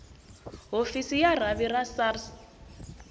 hofisi ya rhavi ra sars